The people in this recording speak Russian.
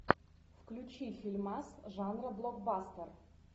включи фильмас жанра блокбастер